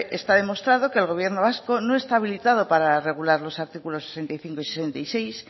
está demostrado que el gobierno vasco no está habilitado para regular los artículo sesenta y cinco y sesenta y seis